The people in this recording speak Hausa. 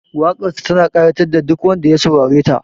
Waƙarsa tana ƙayatar da duk wanda ya saurareta